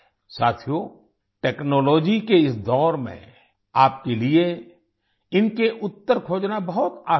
साथियो टेक्नोलॉजी के इस दौर में आपके लिए इनके उत्तर खोजना बहुत आसान है